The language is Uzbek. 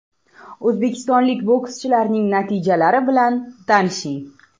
O‘zbekistonlik bokschilarning natijalari bilan tanishing: !